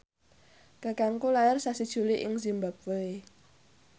kakangku lair sasi Juli ing zimbabwe